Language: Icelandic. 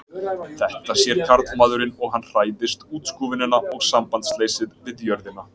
Þetta sér karlmaðurinn og hann hræðist útskúfunina og sambandsleysið við jörðina.